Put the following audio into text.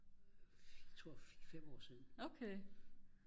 tror 5 år siden